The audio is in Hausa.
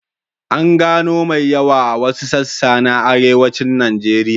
An gano mai yawa a wasu sassa na Arewacin Najeriya.